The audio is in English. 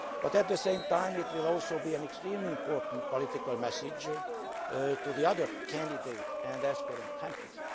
At the same time, it will also send an extremely important political message to the other candidate and aspirant countries.